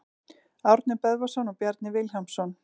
Árni Böðvarsson og Bjarni Vilhjálmsson.